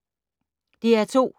DR2